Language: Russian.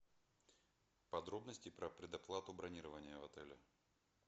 подробности про предоплату бронирования в отеле